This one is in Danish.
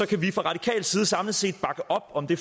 kan vi fra radikal side samlet set bakke op om det